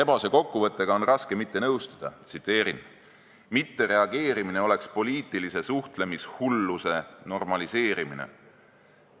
Rebase kokkuvõttega on raske mitte nõustuda: "Mittereageerimine oleks poliitilise suhtlemishulluse normaliseerimine.